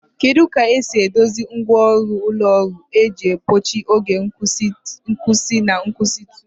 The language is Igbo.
Kedu ka esi edozi ngwa ọrụ ụlọ ọrụ iji gbochie oge nkwụsị na nkwụsịtụ?